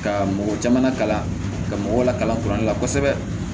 Ka mɔgɔ caman kalan ka mɔgɔw lakalan kuran na kosɛbɛ